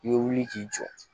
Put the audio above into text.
I bɛ wuli k'i jɔ